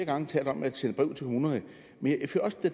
gange talt om at sende brev til kommunerne men